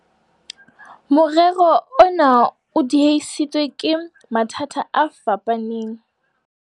Morero ona o diehisitswe ke ke mathata a fapaneng.